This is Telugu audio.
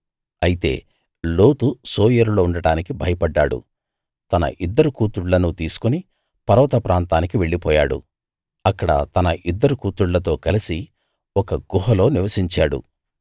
అయితే లోతు సోయరులో ఉండటానికి భయపడ్డాడు తన ఇద్దరు కూతుళ్ళనూ తీసుకుని పర్వత ప్రాంతానికి వెళ్లిపోయాడు అక్కడ తన ఇద్దరు కూతుళ్ళతో కలసి ఒక గుహలో నివసించాడు